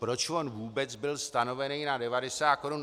Proč on vůbec byl stanoven na 90 korun?